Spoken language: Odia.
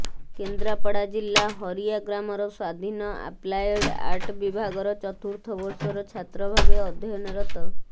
କେନ୍ଦ୍ରାପଡ଼ା ଜିଲ୍ଲା ହରିଆ ଗ୍ରାମର ସ୍ବାଧୀନ ଆପ୍ଲାଏଡ୍ ଆର୍ଟ ବିଭାଗର ଚତୁର୍ଥ ବର୍ଷର ଛାତ୍ର ଭାବେ ଅଧ୍ୟୟନରତ